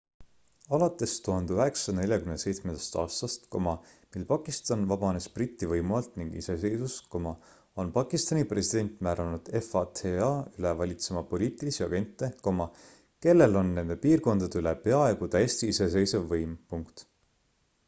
alates 1947 aastast mil pakistan vabanes briti võimu alt ning iseseisvus on pakistani president määranud fata üle valitsema poliitilisi agente kellel on nende piirkondade üle peaaegu täiesti iseseisev võim